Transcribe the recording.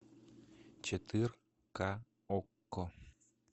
четырка окко